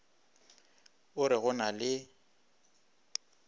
o re go na le